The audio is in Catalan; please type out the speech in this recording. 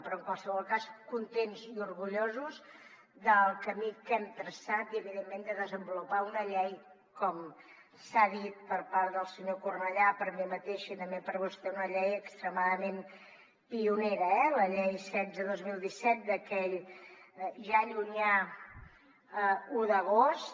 però en qualsevol cas contents i orgullosos del camí que hem traçat i evidentment de desenvolupar com s’ha dit per part del senyor cornellà per mi mateixa i també per vostè una llei extremadament pionera eh la llei setze dos mil disset d’aquell ja llunyà un d’agost